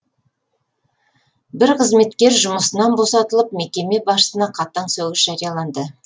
бір қызметкер жұмысын босатылып мекеме басшысына қатаң сөгіс жарияланды